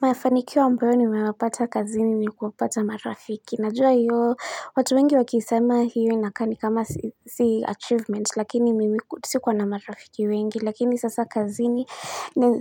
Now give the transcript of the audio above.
Mafanikio ambayo nayapata kazini ni kuwapata marafiki. Najua hiyo, watu wengi wakisema hii inakaa ni kama si achievement, lakini sikuwa na marafiki wengi, lakini sasa kazini